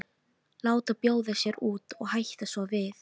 Láta bjóða sér út og hætta svo við.